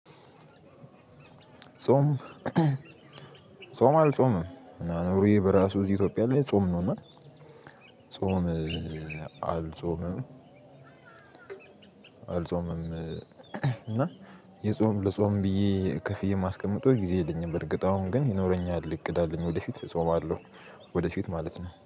ጾም ጾም አልጾምም ኑሮዬ በራሱ ኢትዮጵያ ላይ ጾም ነውና ጾም አልጾምም እና የጾም ለጾም ብዬ ከፍዬ የማስቀምጠው ጊዜ የለኝም በርግጥ አሁን ግን ይኖረኛል እቅድ አለኝ ወደፊት እጾማለሁ ወደፊት ማለት ነው።